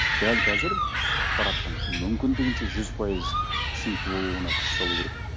дәл қазір ақпараттың мүмкіндігінше жүз пайыз түсінікті болуына күш салу керек